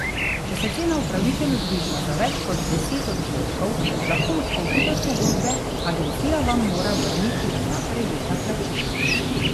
Če se cena upravičeno zviša za več kot deset odstotkov, lahko odstopite od pogodbe, agencija vam mora vrniti vsa prejeta plačila.